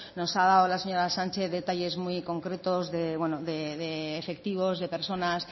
nos ha dado la señora sánchez detalles muy concretos y efectivos de personas